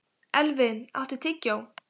Elvin, áttu tyggjó?